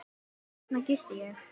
Þarna gisti ég.